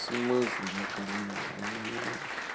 в смысле накормлю а меня